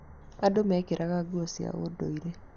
Andũ mekĩraga nguo cia ũndũire.